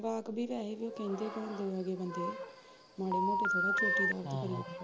ਵਕਬੀਤ ਤਾਂ ਹੈ ਉਹ ਕਹਿੰਦੇ ਕਹਾਉਂਦੇ ਆ ਉਹ ਬੰਦੇ ਮਾੜੇ ਮੋਟੇ ਥੋੜਾ ਚੋਟੀਦਾਰ